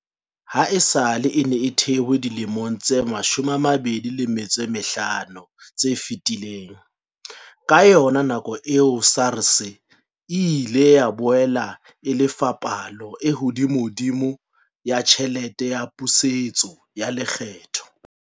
Ha esale e ne e thehwe dilemong tse 25 tse fetileng, ka yona nako eo, SARS e ile ya boela e lefa palo e hodimodimo ya tjhelete ya pusetso ya lekgetho.